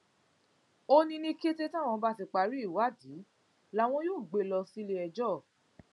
ó ní ní kété táwọn bá ti parí ìwádìí làwọn yóò gbé e lọ síléẹjọ